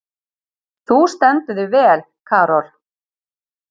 Þú stendur þig vel, Karol!